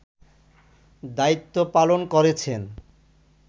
দায়িত্ব পালন করেছেন